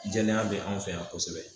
Jɛya bɛ anw fɛ yan kosɛbɛ